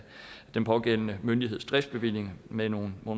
den pågældende myndigheds driftsbevilling med nogle